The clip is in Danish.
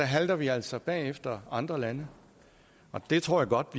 halter vi altså bagefter andre lande det tror jeg godt